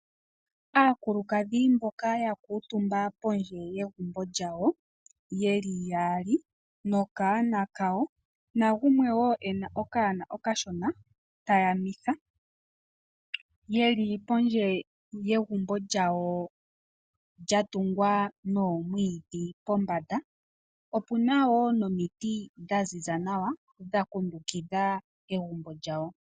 Aakulukadhi mboka ya kuutumba pondje yegumbo lyawo ye li yaali nokanona kawo, nagumwe wo e na okanona okashona ta yamitha ye li pondje yegumbo lyawo lya tungwa nomwiidhi pombanda. Opu na wo nomiti dha ziza nawa dha kundukitha egumbo lyawo.